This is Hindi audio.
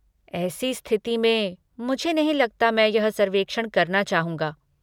ऐसी स्थिति में, मुझे नहीं लगता मैं यह सर्वेक्षण करना चाहूँगा।